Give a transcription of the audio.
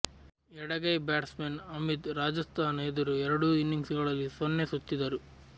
ಎಡಗೈ ಬ್ಯಾಟ್ಸ್ಮನ್ ಅಮಿತ್ ರಾಜಸ್ತಾನ ಎದುರು ಎರಡೂ ಇನಿಂಗ್ಸ್ಗಳಲ್ಲಿ ಸೊನ್ನೆ ಸುತ್ತಿದ್ದರು